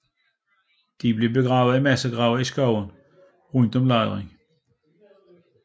De blev begravet i massegrave i skovene rundt om lejren